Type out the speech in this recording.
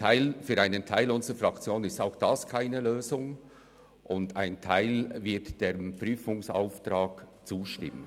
Für einen Teil unserer Fraktion ist auch dieses keine Lösung, ein anderer Teil wird dem Prüfungsauftrag zustimmen.